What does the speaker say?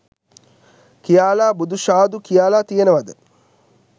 කියාලා බුදු ශාදු කියාලා තියෙනවද